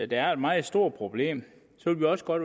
det er et meget stort problem vil vi også godt